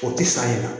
O tɛ san yɛlɛma